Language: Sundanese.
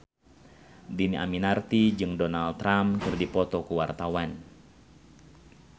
Dhini Aminarti jeung Donald Trump keur dipoto ku wartawan